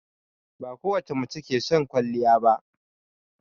Bakowace mace ke son kwaliya ba